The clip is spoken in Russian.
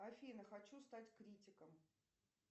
афина хочу стать критиком